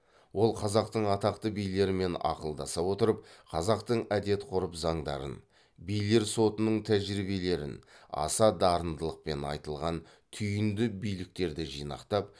ол қазақтың атақты билерімен ақылдаса отырып қазақтың әдет ғұрып заңдарын билер сотының тәжірибелерін аса дарындылықпен айтылған түйінді биліктерді жинақтап